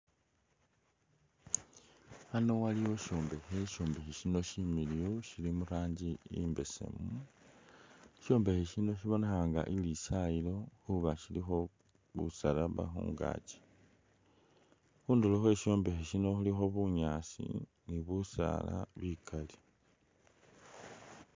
Ano waliwo isyombekhe, isyombekhe sino similiyu sili mu rangi imbesemu. Sisyombekhe sino sibonekha nga ilisayiilo khuba silikho busalaba khungaaki, khundulo khwe sisyombekhe khuno khulikho bunyaasi ni busaala bikali.